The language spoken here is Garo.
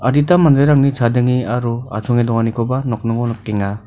adita manderangni chadenge aro achonge donganikoba nokningo nikenga.